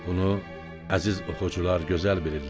Bunu əziz oxucular gözəl bilirlər.